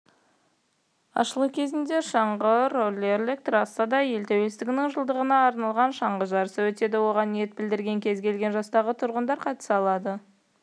ашылу кезінде шаңғы-роллерлік трассада ел тәуелсіздігінің жылдығына арналған шаңғы жарысы өтеді оған ниет білдірген кез келген жастағы тұрғындар қатыса алады